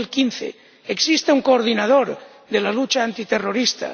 2015. Existe un coordinador de la lucha antiterrorista.